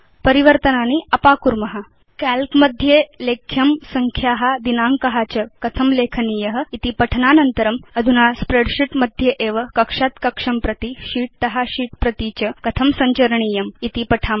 परिवर्तनानि अपाकुर्म काल्क मध्ये लेख्यं संख्या दिनाङ्क च कथं लेखनीय इति पठनानान्तरं वयम् अधुना स्प्रेडशीट् मध्ये एव कक्षात् कक्षं प्रति शीत् त शीत् प्रति च सञ्चरणं कथं करणीयम् इति पठिष्याम